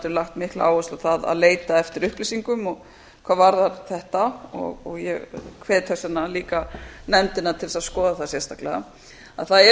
lagt mikla áherslu á það að leita eftir upplýsingum hvað varðar þetta og ég hvet þess vegna líka nefndina til þess að skoða það sérstaklega að það er verið